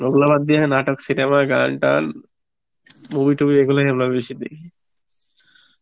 ওগুলো বাদ দিয়ে নাটক, cinema, গান টান, movie টুভি এই গুলি আমরা বেশি দেখি